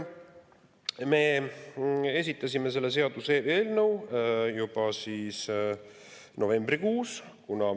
Me esitasime selle seaduseelnõu juba novembrikuus.